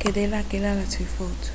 כדי להקל על הצפיפות